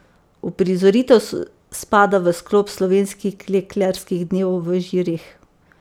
Uprizoritev spada v sklop slovenskih klekljarskih dnevov v Žireh.